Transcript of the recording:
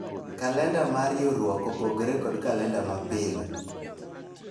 kalenda mar riwruok opogore kod kalenda ma pile